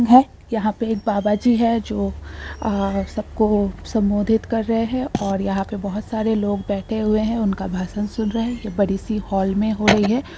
यहां पर एक बाबा जी है जो सबको संबोधित कर रहे हैं और यहां पे बहुत सारे लोग बैठे हुए हैं| उनका भाषण सुन रहे हैं| यह बड़ी-सी हाल में हो रही है।